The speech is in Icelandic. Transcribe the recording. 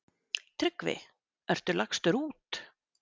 TRYGGVI: Ertu lagstur út?